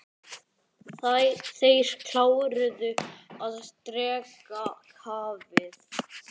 Þeir kláruðu að drekka kaffið.